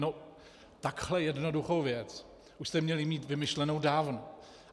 No takhle jednoduchou věc už jste měli mít vymyšlenou dávno.